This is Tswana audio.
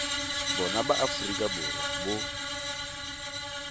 bona ba aforika borwa bo